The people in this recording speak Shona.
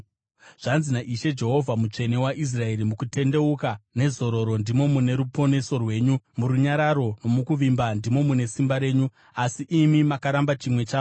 Zvanzi naIshe Jehovha, Mutsvene waIsraeri: “Mukutendeuka nezororo ndimo mune ruponeso rwenyu, murunyararo nomukuvimba ndimo mune simba renyu, asi imi makaramba chimwe chazvo.